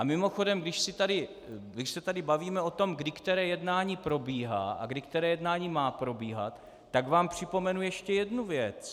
A mimochodem, když se tady bavíme o tom, kdy které jednání probíhá a kdy které jednání má probíhat, tak vám připomenu ještě jednu věc.